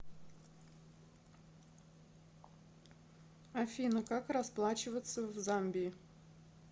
афина как расплачиваться в замбии